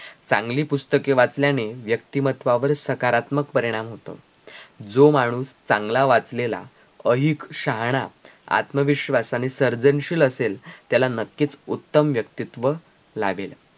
चांगली पुस्तके वाचल्याने व्यक्तीमत्त्वावर सकारात्मक परिणाम होतो जो माणूस चांगला वाचलेला अहिक शहाणा आत्मविश्वास आणि सर्जनशील असेल त्याला नक्कीच उत्तम व्यक्तित्व लाभेल